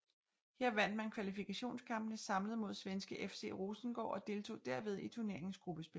Her vandt man kvalifikationskampene samlet mod svenske FC Rosengård og deltog derved i turneringens gruppespil